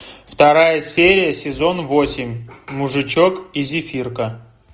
вторая серия сезон восемь мужичок и зефирка